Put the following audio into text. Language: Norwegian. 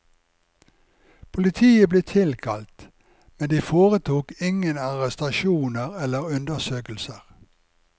Politiet ble tilkalt, men de foretok ingen arrestasjoner eller undersøkelser.